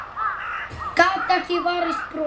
Gat ekki varist brosi.